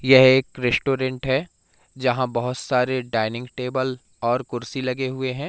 यह एक रेस्टोरेंट है जहां बहोत सारे डाइनिंग टेबल और कुर्सी लगे हुए हैं।